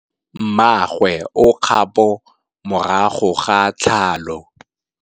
Mmagwe o kgapô morago ga tlhalô.